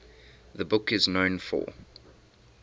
the book is known for